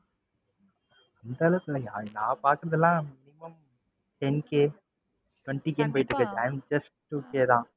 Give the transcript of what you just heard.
அந்த அளவுக்கு இல்ல. நான் பாத்தது எல்லாம் minimum ten K twenty K போயிட்டு இருக்கு i am just two K தான்.